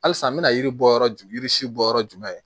Halisa n bɛna yiri bɔ yɔrɔ jumɛn yiri yiri si bɔ yɔrɔ jumɛn